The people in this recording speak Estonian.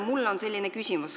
Mul on selline küsimus.